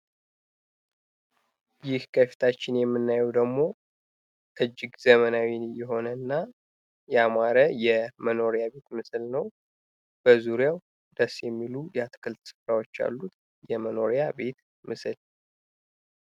ይህ ከፊታችን የምናየው ደግሞ እጅግ ዘመናዊ የሆነ እና ያማረ የመኖሪያ ቤት ምስል ነው። ደስ የሚሉ የአትክልት ስፍራዎች አሉ። የመኖሪያ ቤት ምስል።